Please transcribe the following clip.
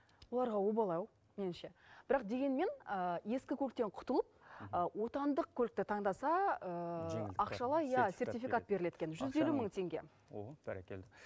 оларға обал ау меніңше бірақ дегенмен ескі көліктен құтылып отандық көлікті таңдаса ақшалай иә сертификат берілед екен жүз елу мың теңге